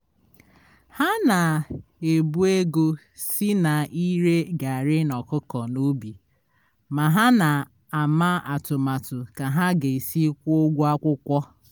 ha na-ebu ego si na ire garrị na ọkụkọ n'obi ma ha na-ama atụmatụ ka ha ga esi kwụọ ụgwọ akwụkwọ